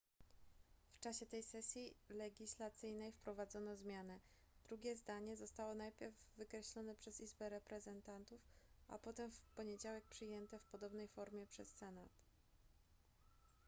w czasie tej sesji legislacyjnej wprowadzono zmianę drugie zdanie zostało najpierw wykreślone przez izbę reprezentantów a potem w poniedziałek przyjęte w podobnej formie przez senat